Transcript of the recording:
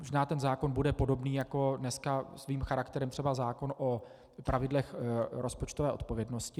Možná ten zákon bude podobný jako dnes svým charakterem třeba zákon o pravidlech rozpočtové odpovědnosti.